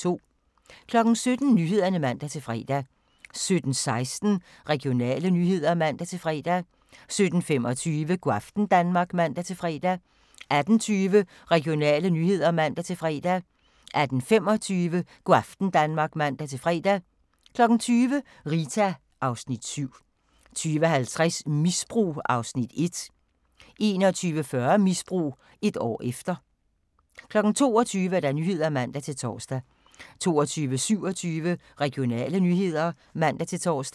17:00: Nyhederne (man-fre) 17:16: Regionale nyheder (man-fre) 17:25: Go' aften Danmark (man-fre) 18:20: Regionale nyheder (man-fre) 18:25: Go' aften Danmark (man-fre) 20:00: Rita (Afs. 7) 20:50: Misbrug (Afs. 1) 21:40: Misbrug - et år efter 22:00: Nyhederne (man-tor) 22:27: Regionale nyheder (man-tor)